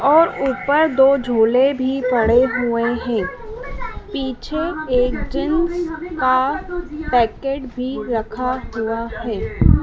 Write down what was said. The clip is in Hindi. और ऊपर दो झूले भी पड़े हुए हैं पीछे एक जिन्श का पैकेट भी रखा हुआ है।